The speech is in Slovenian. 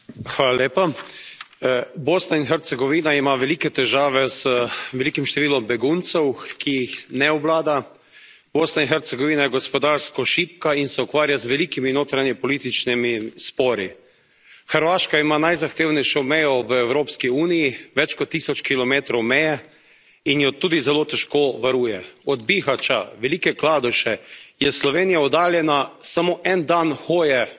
Gospod predsednik, Bosna in Hercegovina ima velike težave z velikim številom beguncev, ki jih ne obvlada. Bosna in Hercegovina je gospodarsko šibka in se ukvarja z velikimi notranjepolitičnimi spori. Hrvaška ima najzahtevnejšo mejo v Evropski uniji, več kot tisoč kilometrov meje in jo tudi zelo težko varuje. Od Bihaća, Velike Kladuše je Slovenija oddaljena samo en dan hoje migrantov,